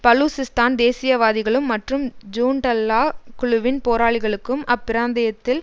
பலூசிஸ்தான் தேசியவாதிகளும் மற்றும் ஜூன்டல்லாஹ் குழுவின் போராளிகளுக்கும் அப்பிராந்தியத்தில்